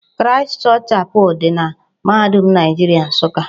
Christ Church Chapel dị na mahadum Naịjiria Nsụka.